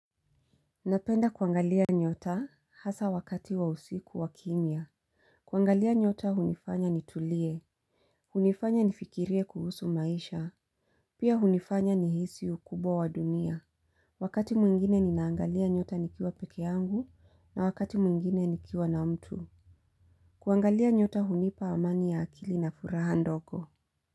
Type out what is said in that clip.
Napenda kuangalia nyota hasa wakati wa usiku wa kimya. Kuangalia nyota hunifanya nitulie. Hunifanya nifikirie kuhusu maisha. Pia hunifanya nihisi ukubwa wa dunia. Wakati mwingine ninaangalia nyota nikiwa peke yangu na wakati mwingine nikiwa na mtu. Kuangalia nyota hunipa amani ya akili na furaha ndogo.